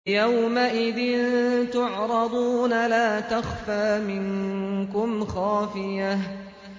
يَوْمَئِذٍ تُعْرَضُونَ لَا تَخْفَىٰ مِنكُمْ خَافِيَةٌ